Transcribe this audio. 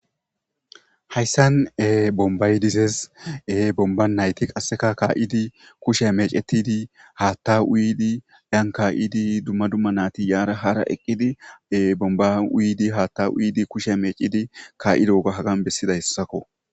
Hayssan bombaydizez bomba nayti qasseka kaa7idi kushe meecetidi haatta uyidi dyan kaa7idi dumma dumma naati yaara hara eqqidi bomba uyidi haatta uyidi kushe mecidi kaa7ido oga hagan bessida hessakko.